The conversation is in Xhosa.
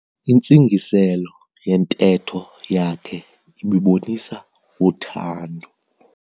Intsingiselo yentetho yakhe ibibonisa uthando.